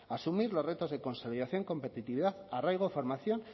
asumir los retos de consolidación competitividad arraigo formación